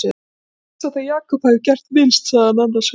Ég held samt að Jakob hafi gert minnst, sagði hann annars hugar.